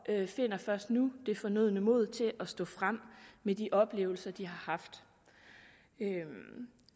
finder først nu det fornødne mod til at stå frem med de oplevelser de har haft